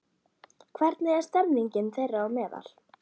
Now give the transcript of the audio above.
Hvernig er stemmingin þeirra á meðal?